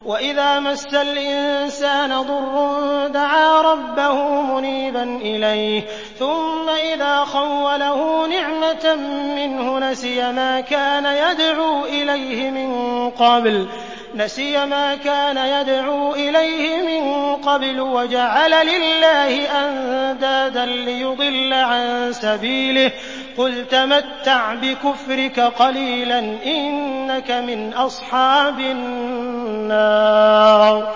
۞ وَإِذَا مَسَّ الْإِنسَانَ ضُرٌّ دَعَا رَبَّهُ مُنِيبًا إِلَيْهِ ثُمَّ إِذَا خَوَّلَهُ نِعْمَةً مِّنْهُ نَسِيَ مَا كَانَ يَدْعُو إِلَيْهِ مِن قَبْلُ وَجَعَلَ لِلَّهِ أَندَادًا لِّيُضِلَّ عَن سَبِيلِهِ ۚ قُلْ تَمَتَّعْ بِكُفْرِكَ قَلِيلًا ۖ إِنَّكَ مِنْ أَصْحَابِ النَّارِ